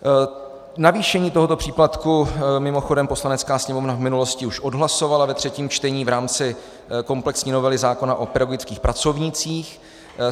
Navýšení tohoto příplatku mimochodem Poslanecká sněmovna v minulosti už odhlasovala ve třetím čtení v rámci komplexní novely zákona o pedagogických pracovnících.